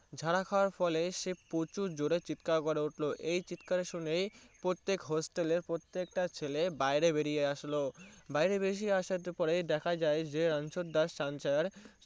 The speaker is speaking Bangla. ঝাঁক খাবার পরে সে প্রচুর জোরে চিৎকার করে এই চিৎকার উনি প্রত্যেক hostel এর পত্তেক তা ছেলে বাইরে বেরিয়ে আসলো তখন বাইরে বেরিয়ে এস আসার পরে দেখা যায় যে রানচ্ছর দাস ছানছার